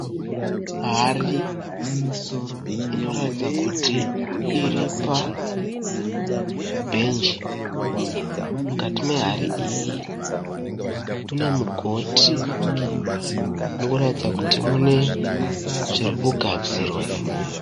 Hari inoratidza kuti iripa bhenji, mukati mehari iyi mune mugoti munoratidza kuti mune zvirikugadzirwa imomo.